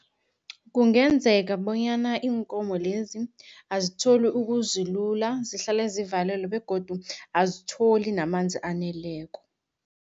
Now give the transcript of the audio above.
Kungenzeka bonyana iinkomo lezi azitholi ukuzilula, zihlale zivalelwe begodu azitholi namanzi aneleko.